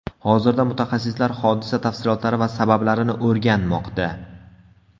Hozirda mutaxassislar hodisa tafsilotlari va sabablarini o‘rganmoqda.